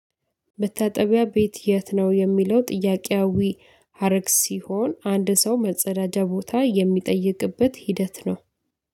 መታጠቢያ ቤት የት ነው የሚለው ጥያቄያዊ ሀረግ ሲሆን አንድ ሰው መጸዳጃ ቦታ የሚጠይቅበት ሂደት ነው።